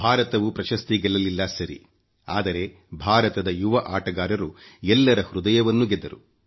ಭಾರತವುಪ್ರಶಸ್ತಿ ಗೆಲ್ಲಲಿಲ್ಲ ಸರಿ ಆದರೆ ಭಾರತದ ಯುವ ಆಟಗಾರರಂತೂ ಎಲ್ಲರ ಹೃದಯವನ್ನು ಗೆದ್ದರು